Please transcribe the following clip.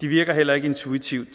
de virker heller ikke intuitivt